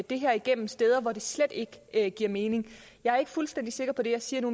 det her igennem steder hvor det slet ikke ikke giver mening jeg er ikke fuldstændig sikker på det jeg siger nu